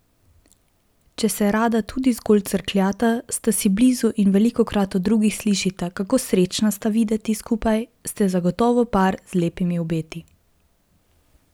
Če se rada tudi zgolj crkljata, sta si blizu in velikokrat od drugih slišita, kako srečna sta videti skupaj, ste zagotovo par z lepimi obeti.